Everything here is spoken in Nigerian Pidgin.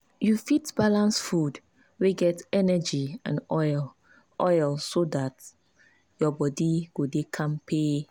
you fit balance food wey get energy and oil oil so dat your body go dey kampe.